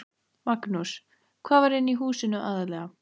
Magnús: Hvað var inni í húsinu aðallega?